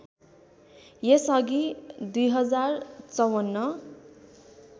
यस अघि २०५४